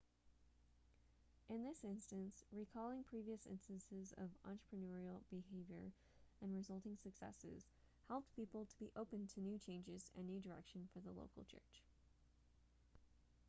in this instance recalling previous instances of entrepreneurial behavior and resulting successes helped people to be open to new changes and new direction for the local church